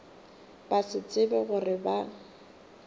ba se tsebe gore ba